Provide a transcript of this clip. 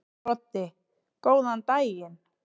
Broddi: Góðan daginn.